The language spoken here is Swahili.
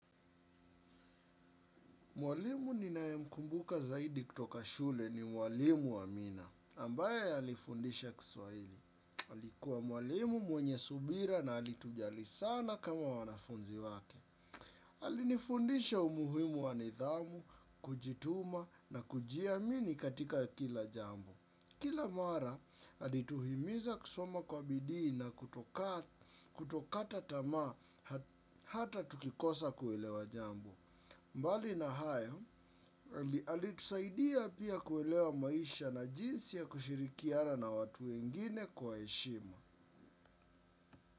Mwalimu ninae mkumbuka zaidi kutoka shule ni mwalimu wa amina. Ambaye alifundisha kiswaili. Alikuwa mwalimu mwenye subira na alitujali sana kama wanafunzi wake. Alinifundisha umuhimu wa nidhamu, kujituma na kujiamini katika kila jambo. Kila mara, alituhimiza kusoma kwa bidii na kutokata tama hata tukikosa kuwelewa jambo. Mbali na hayo, alitusaidia pia kuelewa maisha na jinsi ya kushirikiana na watu wengine kwa eshima.